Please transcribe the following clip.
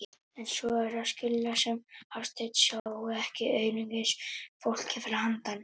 En svo er að skilja sem Hafsteinn sjái ekki einungis fólkið fyrir handan.